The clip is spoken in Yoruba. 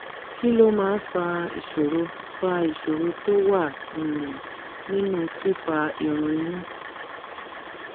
kí ló máa ń fa ìṣòro fa ìṣòro tó wà um nínú fífà irun inú?